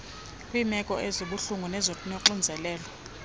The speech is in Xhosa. kweemeko ezibuhlungu nezinoxinzelelo